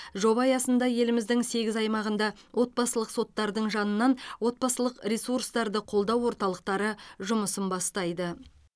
жоба аясында еліміздің сегіз аймағында отбасылық соттардың жанынан отбасылық ресурстарды қолдау орталықтары жұмысы бастайды